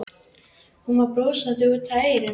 Hún var brosandi út að eyrum.